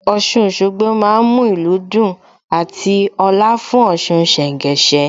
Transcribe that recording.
Ọ̀ṣun Òṣogbo má ń mú ìlú dùn àti ọ̀la fún Ọ̀ṣun ṣẹ̀ńgẹṣẹ́